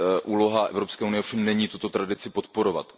Úloha Evropské unie ovšem není tuto tradici podporovat.